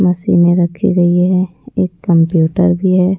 मशीनें रखी गई है एक कंप्यूटर भी है।